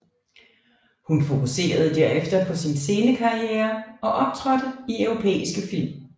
Hun fokuserede derefter på sin scenekarriere og optrådte i europæiske film